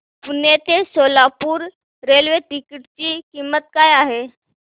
पुणे ते Solapur railway ticket ची किंमत काय आहे